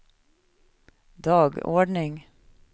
dagordning